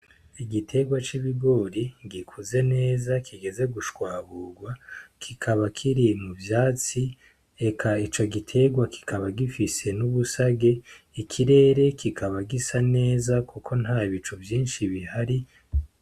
Igiterwa c'ibigori gikuze kigeze gushwaburwa kikaba kiri mu vyatsi eka ico giterwa kikaba gifise n'ubusage ikirere kikaba gisa neza kuko nta bicu vyishi bihari.